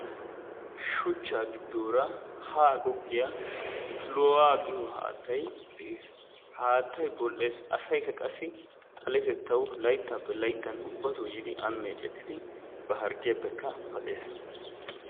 Shuchchaa giddoora haa goggiya piloohaa giyo haattay de'ees. Ha haattay ho"ees. Asaykka qassi xaletettawu layttaappe layttan ubbatookka yiidi aani meecettidi ba harggiyappe paxees.